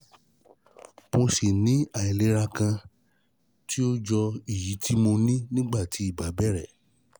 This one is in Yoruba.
Mo ṣì ní um àìlera kan tó jọ èyí tí mo ní nígbà tí ibà bẹ̀rẹ̀